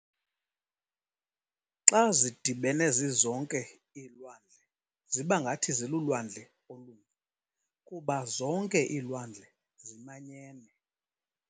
Xa zidibene zizonke, iilwandle zibangathi 'zilulwandle' olunye, kuba zonke iilwandle zimanyene.